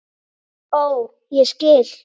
Ó, ég skil!